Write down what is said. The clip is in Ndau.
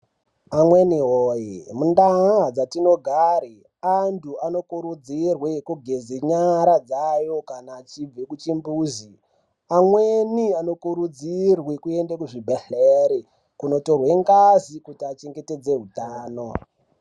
Vamweni woye mundaya dzatinogare antu anokurudzirwe kugeze nyara dzayo kana achibve kuchimbuzi amweni anokurudzirwe kuende kuzvibhedhleri kundotorwe ngazi kuti achengetedze utano.